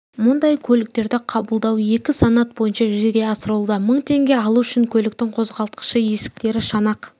мұндай көліктерді қабылдау екі санат бойынша жүзеге асырылуда мың теңге алу үшін көліктің қозғалтқышы есіктері шанақ